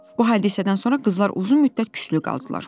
Bu hadisədən sonra qızlar uzun müddət küslü qaldılar.